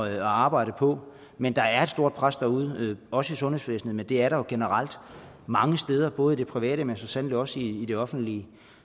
at arbejde på men der er et stort pres derude også i sundhedsvæsenet men det er der jo generelt mange steder både i det private men så sandelig også i det offentlige